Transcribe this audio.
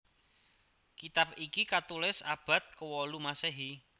Kitab iki katulis abad kewolu Masehi